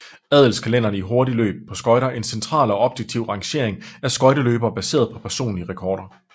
Adelskalenderen er i hurtigløb på skøjter en central og objektiv rangering af skøjteløbere baseret på personlige rekorder